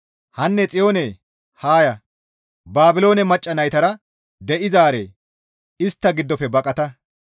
Hanne Xiyoone haa ya; Baabiloone macca naytara de7izaare istta giddofe baqata.